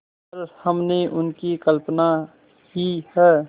पर हमने उनकी कल्पना ही है